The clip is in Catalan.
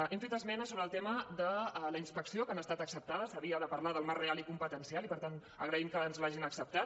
hem fet esmena sobre el tema de la inspecció que han estat acceptades s’havia de parlar del marc real i competencial i per tant agraïm que ens l’hagin acceptat